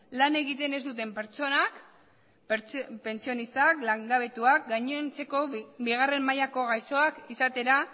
lan egiten ez duten pertsonak pentsionistak langabetuak gainontzeko bigarren mailako gaixoak izatera